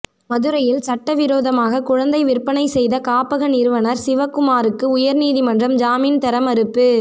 மதுரையில் சட்டவிரோதமாக குழந்தை விற்பனை செய்த காப்பக நிறுவனர் சிவகுமாருக்கு உயர்நீதிமன்றம் ஜாமின் தர மறுப்பு